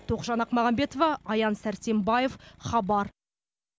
тоғжан ақмағамбетова аян сәрсенбаев хабар